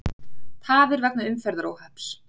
Tafir vegna umferðaróhapps